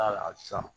Aa san